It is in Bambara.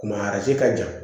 Ma ka jan